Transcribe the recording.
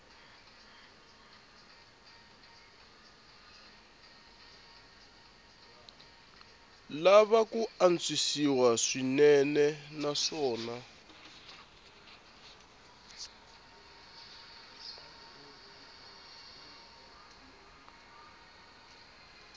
lava ku antswisiwa swinene naswona